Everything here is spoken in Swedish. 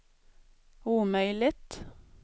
omöjligt